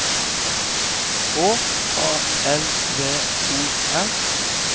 H A L V O R